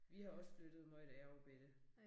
Vi har også flyttet meget da jeg var bette